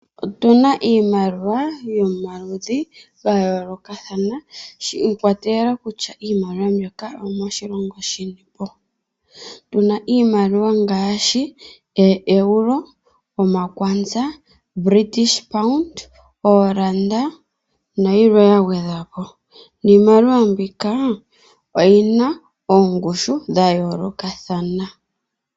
Otuna iimaliwa yomaludhi gayoolokathana shi ikwatelela kutya iimaliwa mbyoka oyo moshilongo shinipo. Tuna iimaliwa ngaashi oEuro, ooranda, British pond nayilwe yagwedhwa po. Iimaliwa mbika oyina ongushu ya yoolokothana.